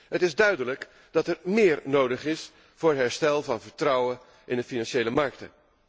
Het is duidelijk dat er méér nodig is voor het herstel van vertrouwen in de financiële markten.